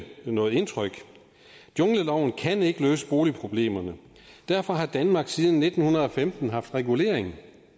noget indtryk jungleloven kan ikke løse boligproblemerne derfor har danmark siden nitten femten haft regulering